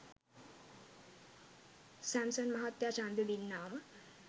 Samson මහත්තය චන්දේ දින්නාම